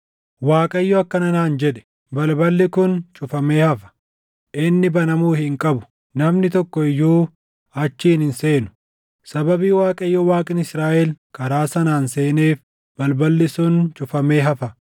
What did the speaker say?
Waaqayyo akkana naan jedhe; “Balballi kun cufamee hafa; inni banamuu hin qabu; namni tokko iyyuu achiin hin seenu. Sababii Waaqayyo Waaqni Israaʼel karaa sanaan seeneef, balballi sun cufamee hafa.